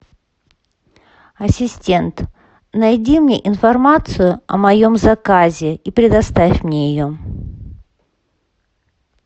ассистент найди мне информацию о моем заказе и предоставь мне ее